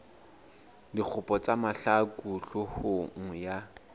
dikgopo tsa mahlaku hloohong ya